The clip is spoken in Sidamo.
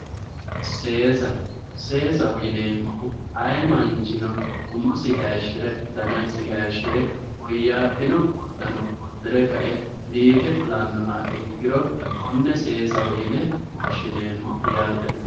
Seesa, seesaho yineemmohu ayee manchino umosi hayishire dannasi hayishire woyyabbino uddano udire kae biife fulano ikkiro kone seesaho yinne woshshineemmo yaate.